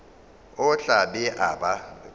o tla be a ba